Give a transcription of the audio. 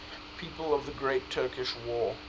people of the great turkish war